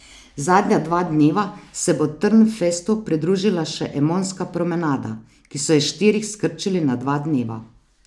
Zadnja dva dneva se bo Trnfestu pridružila še Emonska promenada, ki so jo s štirih skrčili na dva dneva.